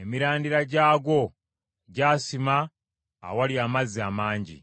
emirandira gyagwo gyasima awali amazzi amangi.